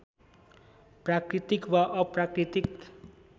प्राकृतिक वा अप्राकृतिक